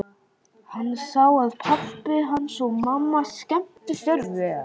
Hann sá að pabbi hans og mamma skemmtu sér vel.